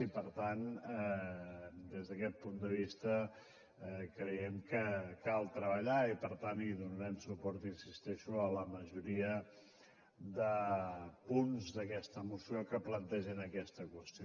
i per tant des d’aquest punt de vista creiem que cal treballar i per tant donarem suport hi insisteixo a la majoria de punts d’aquesta moció que plantegen aquesta qüestió